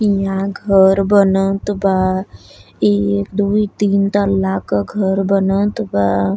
इहां घर बनत बा इ उ एक दु तीन तला का घर बनत बा।